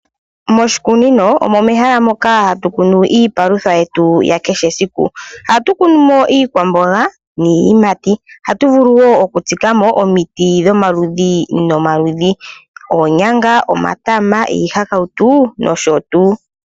Moshikunino omo mehala moka hatu kunu iipalutha yetu ya kehe esiku. Ohatu kunu mo iikwamboga niiyimati, ohatu vulu wo oku tsika mo omiti dhomaludhi nomaludhi, oonyanga, omatama, iihakautu nosho tuu.